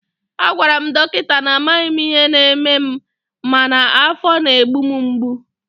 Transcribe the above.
a gwara m dọkịta na amaghị m ihe na-eme m mana afọ na-egbu m mgbu